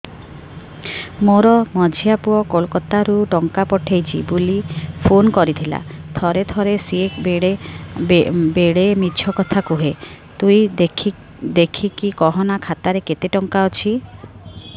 ମୋର ମଝିଆ ପୁଅ କୋଲକତା ରୁ ଟଙ୍କା ପଠେଇଚି ବୁଲି ଫୁନ କରିଥିଲା ଥରେ ଥରେ ସିଏ ବେଡେ ମିଛ କଥା କୁହେ ତୁଇ ଦେଖିକି କହନା ଖାତାରେ କେତ ଟଙ୍କା ଅଛି